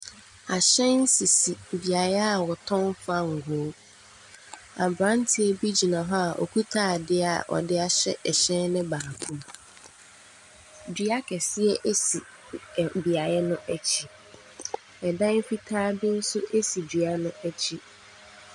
Ahyɛn sisi beaeɛ a wɔtɔn fangoo. Aberanteɛ bi gyina hɔ a ɔkita adeɛ a ɔde ahyɛ ɛhyɛn no mu. Dua kɛseɛ si ɛ beaeɛ akyi. Ɛdan fitaa bo nso si dua no akyi.